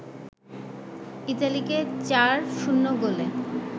ইতালিকে ৪-০ গোলে